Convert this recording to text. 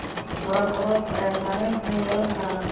Waraabka roobka ayaa saameyn xun yeelan kara.